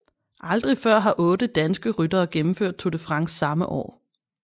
Aldrig før har otte danske ryttere gennemført Tour de France samme år